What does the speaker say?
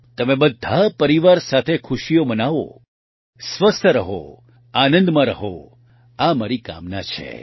તમે બધા પરિવાર સાથે ખુશીઓ મનાવો સ્વસ્થ રહો આનંદમાં રહો આ મારી કામના છે